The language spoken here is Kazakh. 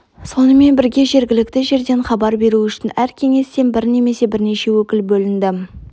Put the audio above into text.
сонымен бірге жергілікті жерден хабар беру үшін әр кеңестен бір немесе бірнеше өкіл бөлінді